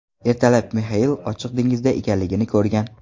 Ertalab Mixail ochiq dengizda ekanligini ko‘rgan.